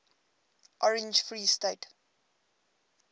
orange free state